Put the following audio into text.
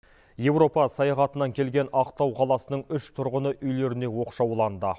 еуропа саяхатынан келген ақтау қаласының үш тұрғыны үйлеріне оқшауланды